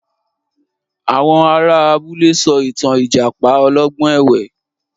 Àwọn ará abúlé sọ ìtàn Ìjàpá olọ́gbọ́n ẹ̀wẹ́